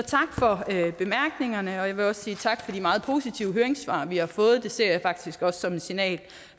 jeg vil sige tak for de meget positive høringssvar vi har fået det ser jeg faktisk også som et signal